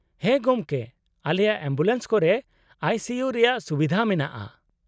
-ᱦᱮᱸ ᱜᱚᱢᱠᱮ ! ᱟᱞᱮᱭᱟᱜ ᱮᱢᱵᱩᱞᱮᱱᱥ ᱠᱚᱨᱮ ᱟᱭᱹ ᱥᱤᱹ ᱤᱭᱩ ᱨᱮᱭᱟᱜ ᱥᱩᱵᱤᱫᱷᱟ ᱢᱮᱱᱟᱜᱼᱟ ᱾